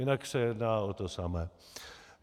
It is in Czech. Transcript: Jinak se jedná o to samé.